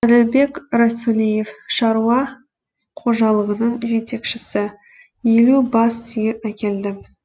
әділбек расулиев шаруа қожалығының жетекшісі елу бас сиыр әкелдім